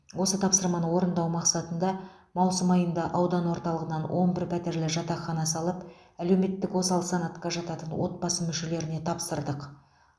осы тапсырманы орындау мақсатында маусым айында аудан орталығынан он бір пәтерлі жатақхана салып әлеуметтік осал санатқа жататын отбасы мүшелеріне тапсырдық